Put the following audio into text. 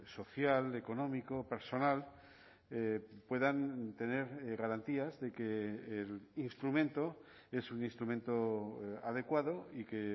social económico personal puedan tener garantías de que el instrumento es un instrumento adecuado y que